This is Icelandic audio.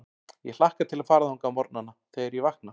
Ég hlakka til að fara þangað á morgnana, þegar ég vakna.